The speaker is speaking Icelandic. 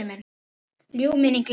Ljúf minning lifir.